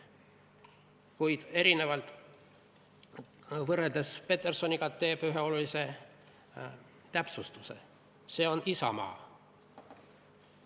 Kuid erinevalt Petersonist teeb autor ühe olulise täpsustuse: see on isamaa.